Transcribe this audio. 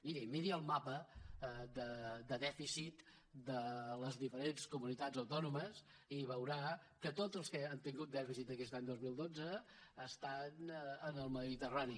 miri miri el mapa de dèficit de les diferents comunitats autònomes i veurà que totes les que han tingut dèficit aquest any dos mil dotze estan en el mediterrani